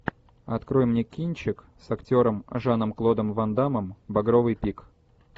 открой мне кинчик с актером жаном клодом ван даммом багровый пик